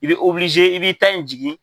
I bɛ i bi i ta in jigi.